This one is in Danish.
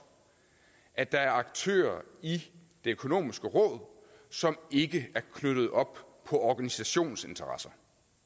at der er aktører i det økonomiske råd som ikke er knyttet op på organisationsinteresser